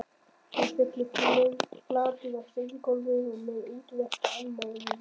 Hann féll flatur á steingólfið með útrétta arma og rím